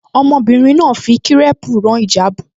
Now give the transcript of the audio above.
Ọmọbìnrin náà fi kírẹ́ẹ̀pù rán ìjáàbù